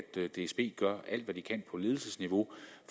dsb gør alt hvad de kan på ledelsesniveau